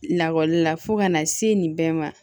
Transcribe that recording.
Lakɔlila fo ka na se nin bɛɛ ma